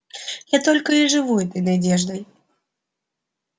я только и живу этой надеждой